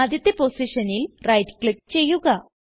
ആദ്യത്തെ പോസിഷനിൽ right click ചെയ്യുക